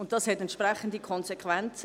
Das hat entsprechende Konsequenzen.